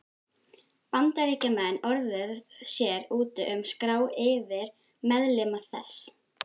Bandaríkjamenn orðið sér úti um skrá yfir meðlimi þess.